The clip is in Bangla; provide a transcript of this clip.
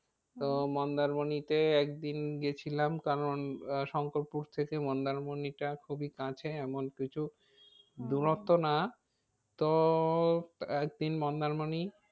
তো মন্দারমণিতে একদিন গিয়েছিলাম কারণ আহ শঙ্করপুর থেকে মন্দারমণিটা খুবই কাছে এমন কিছু দূরত্ব না তো এক দিন মন্দারমণি